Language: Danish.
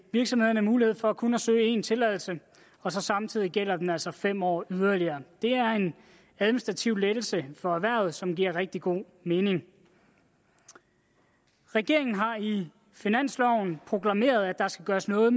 virksomhederne mulighed for kun at søge én tilladelse og samtidig gælder den altså i fem år yderligere det er en administrativ lettelse for erhvervet som giver rigtig god mening regeringen har i finansloven proklameret at der skal gøres noget